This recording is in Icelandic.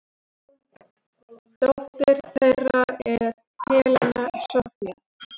Dóttir þeirra er Helena Soffía.